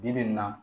Bi bi in na